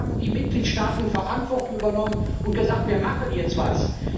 Endlich haben die Mitgliedstaaten Verantwortung übernommen und gesagt Wir machen jetzt etwas.